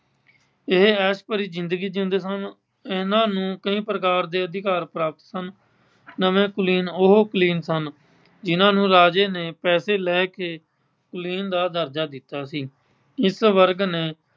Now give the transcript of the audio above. ਇਹ ਐਸ਼ ਭਰੀ ਜਿੰਦਗੀ ਜਿਉਂਦੇ ਸਨ। ਇਨ੍ਹਾਂ ਨੂੰ ਕਈ ਪ੍ਰਕਾਰ ਦੇ ਅਧਿਕਾਰ ਪ੍ਰਾਪਤ ਸਨ। ਨਵੇਂ ਕੁਲੀਨ ਉਹ ਕੁਲੀਨ ਸਨ, ਜਿੰਨ੍ਹਾਂ ਨੂੰ ਰਾਜੇ ਨੇ ਪੈਸੇ ਲੈ ਕੇ ਕੁਲੀਨ ਦਾ ਦਰਜਾ ਦਿੱਤਾ ਸੀ। ਇਸ ਵਰਗ ਨੇ